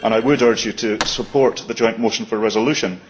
I would urge you to support the joint motion for resolution.